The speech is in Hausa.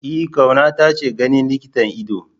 E Kauna taje ganin likitan ido.